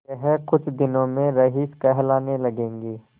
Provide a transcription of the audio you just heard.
यह कुछ दिनों में रईस कहलाने लगेंगे